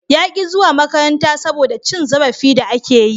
Ya ki zuwa makaranta saboda cin zarafi da ake yi.